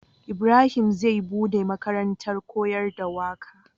Ibrahim zai buɗe makarantar koyar da waƙe